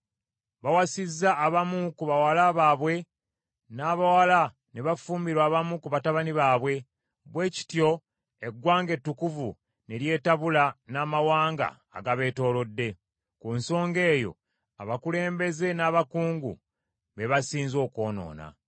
Bawasizza abamu ku bawala baabwe, n’abawala ne bafumbirwa abamu ku batabani baabwe, bwe kityo eggwanga ettukuvu ne lyetabula n’amawanga agabeetoolodde. Ku nsonga eyo abakulembeze n’abakungu, be basinze okwonoona.”